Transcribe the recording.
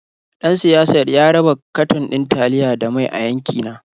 Ɗan siyasar ya raba katon ɗin taliya da mai a yankina.